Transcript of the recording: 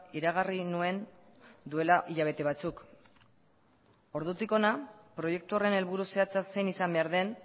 iragarri nuen duela hilabete batzuk ordutik hona proiektu horren helburu zehatza zein izan behar den